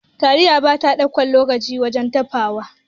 Taliya bata ɗaukan lokaci wajen dafawa.